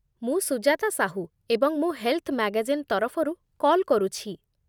ମୁଁ ସୁଜାତା ସାହୂ, ଏବଂ ମୁଁ ହେଲ୍‌ଥ୍ ମ୍ୟାଗାଜିନ୍ ତରଫରୁ କଲ୍ କରୁଛି।